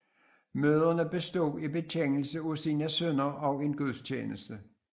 Møderne bestod i bekendelse af sine synder og en gudstjeneste